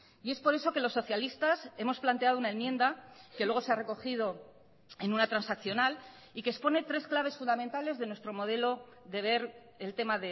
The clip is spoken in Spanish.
y es por eso que los socialistas hemos planteado una enmienda que luego se ha recogido en una transaccional y que expone tres claves fundamentales de nuestro modelo de ver el tema